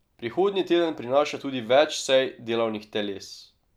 Prihodnji teden prinaša tudi več sej delovnih teles.